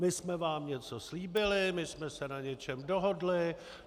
My jsme vám něco slíbili, my jsme se na něčem dohodli.